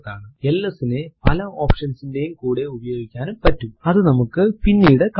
LS നെ പല options ന്റെയും കൂടെ ഉപയോഗിക്കാനും പറ്റും അതു നമുക്ക് പിന്നീട് കാണാം